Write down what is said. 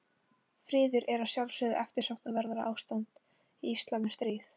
Friður er að sjálfsögðu eftirsóknarverðara ástand í íslam en stríð.